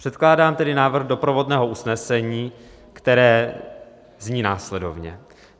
Předkládám tedy návrh doprovodného usnesení, které zní následovně: